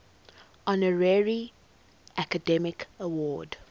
honorary academy award